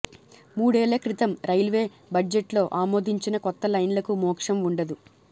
మూడేళ్ల క్రితం రైల్వే బజెట్లో ఆమోదించిన కొత్త లైన్లకు మోక్షం వుండదు